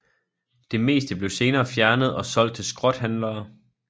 Det meste blev senere fjernet og solgt til skrothandlere